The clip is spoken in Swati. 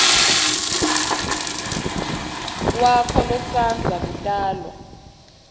wakho losandza kutalwa